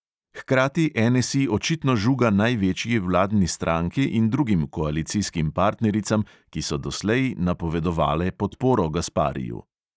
Hkrati NSI očitno žuga največji vladni stranki in drugim koalicijskim partnericam, ki so doslej napovedovale podporo gaspariju.